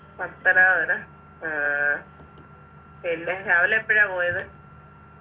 പത്തനാപുരം ആഹ് പിന്നെ രാവിലെ എപ്പഴാ പോയത്?